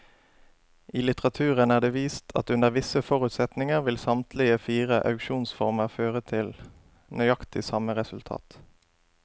I litteraturen er det vist at under visse forutsetninger vil samtlige fire auksjonsformer føre til nøyaktig samme resultat.